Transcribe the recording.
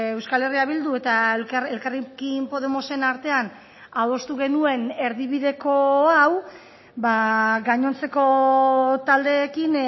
euskal herria bildu eta elkarrekin podemosen artean adostu genuen erdibideko hau gainontzeko taldeekin